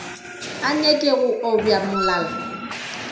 a nyake go obja molala